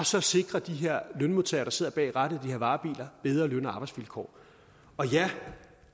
så sikrer de her lønmodtagere der sidder bag rattet i de her varebiler bedre løn og arbejdsvilkår og ja